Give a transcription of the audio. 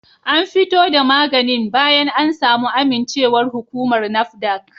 An fito da maganin bayan an samu amincewar hukumar NAFDAC